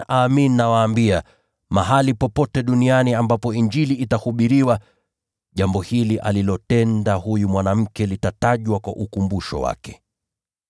Amin, nawaambia, mahali popote ulimwenguni ambapo Injili itahubiriwa, jambo hili alilolitenda huyu mwanamke litatajwa pia kwa ukumbusho wake.”